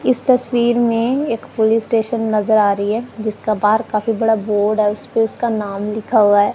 इस तस्वीर में एक पुलिस स्टेशन नजर आ रही है जिसका बाहर काफी बड़ा बोर्ड है उसपे उसका नाम लिखा हुआ है।